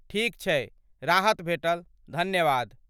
ठीक छै, राहत भेटल, धन्यवाद!